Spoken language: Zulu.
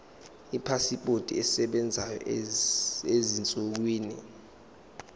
ipasipoti esebenzayo ezinsukwini